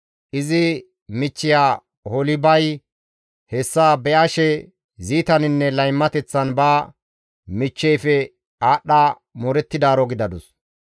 «Izi michchiya Oholibay hessa be7ashe ziitaninne laymateththan ba michcheyfe aadhdha moorettidaaro gidadus.